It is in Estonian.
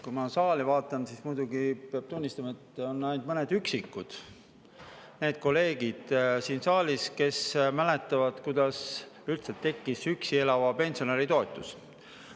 Kui ma saali vaatan, siis muidugi peab tunnistama, et siin saalis on ainult mõned üksikud kolleegid, kes mäletavad, kuidas üldse tekkis üksi elava pensionäri toetus.